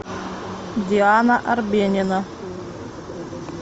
диана арбенина